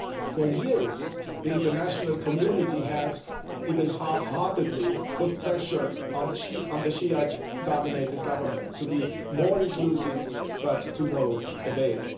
For years, the international community has even half heartedly put pressure on the Shi'ite dominated government to be more inclusive, but to no avail.